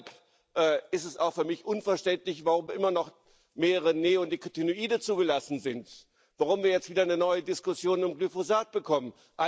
Und deshalb ist es auch für mich unverständlich, warum immer noch mehrere Neonikotinoide zugelassen sind, warum wir jetzt wieder eine neue Diskussion um Glyphosat bekommen.